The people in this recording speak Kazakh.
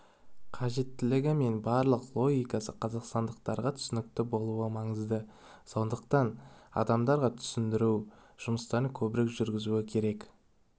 қажеттілігі мен барлық логикасы қазақстандықтарға түсінікті болуы маңызды сондықтан адамдарға түсіндіру жұмыстарын көбірек жүргізу керек